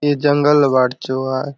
ए जंगल बाट चो आय।